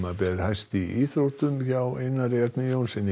ber hæst í íþróttum hjá Einar Erni Jónssyni